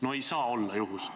No ei saa olla juhus.